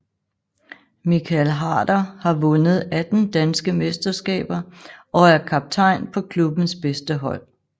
Michael Harder har vundet 18 danske mesterskaber og er kaptajn på klubbens bedste hold